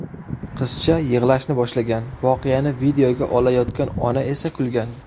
Qizcha yig‘lashni boshlagan, voqeani videoga olayotgan ona esa kulgan.